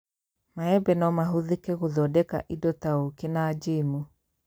Maembe no mahũthĩke gũthondeka indo ta acari na njamu